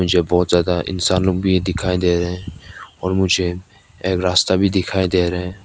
मुझे बहुत ज्यादा इंसानों लोग भी दिखाई दे रहे हैं और मुझे एक रास्ता भी दिखाई दे रहे हैं।